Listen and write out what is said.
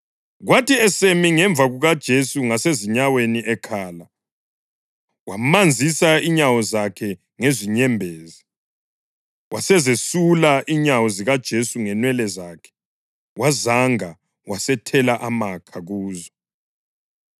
kwathi esemi ngemva kukaJesu ngasezinyaweni ekhala, wamanzisa inyawo zakhe ngezinyembezi. Wasezesula inyawo zikaJesu ngenwele zakhe, wazanga wasethela amakha kuzo.